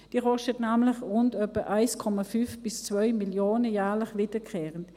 sie kostet nämlich etwa 1,5 bis 2 Mio. Franken, jährlich wiederkehrend.